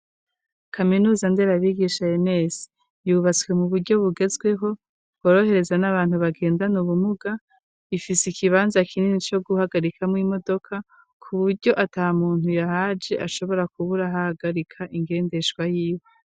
Kaminuza, nderabigisha, "ENS", yubatswe mu buryo bugezweho, bworohereza n'abantu, bagendana ubumuga; ifise ikibanza kinini, co guhagarikamwo imodoka, ku buryo ata muntu yahaje ashobora kubura aho ahagarika ingendeshwa yiwe.